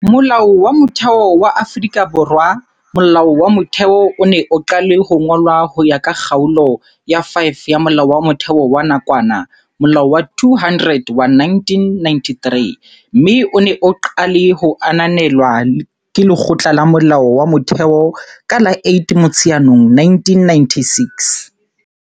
Molao wa Motheo wa Afrika Borwa Molao wa Motheo o ne o qale ho ngolwa ho ya ka Kgaolo ya 5 ya Molao wa Motheo wa nakwana, Molao wa 200 wa 1993, mme o ne o qale ho ananelwa ke Lekgotla la Molao wa Motheo ka la 8 Motsheanong 1996.